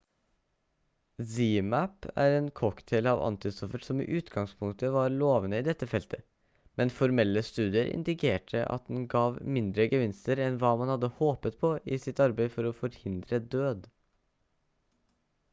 zmapp er en cocktail av antistoffer som i utgangspunktet var lovende i dette feltet men formelle studier indikerte at den gav mindre gevinster enn hva man hadde håpet på i sitt arbeid for å forhindre død